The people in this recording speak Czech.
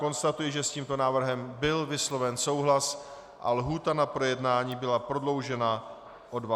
Konstatuji, že s tímto návrhem byl vysloven souhlas a lhůta na projednání byla prodloužena o 20 dnů.